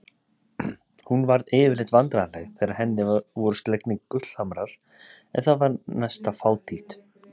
Hún varð yfirleitt vandræðaleg þegar henni voru slegnir gullhamrar en það var næsta fátítt.